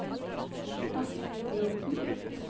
Astrid Bråten